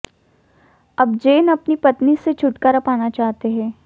अब जेन अपनी पत्नी से छुटकारा पाना चाहते हैं